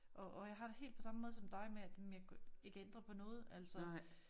Og og jeg har det helt på samme måde som dig med at men jeg kan jo ikke ændre på noget altså